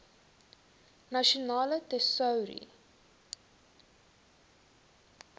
nasionale tesourie